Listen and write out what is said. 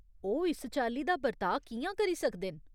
ओह्‌ इस चाल्ली दा बर्ताऽ कि'यां करी सकदे न ?